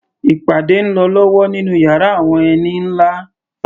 Ìpàdé ń lọ lọ́wọ́ nínú yàrá àwọn ẹni nlá